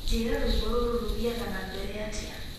njira rwimbo ruru rũthiaga na mbere atia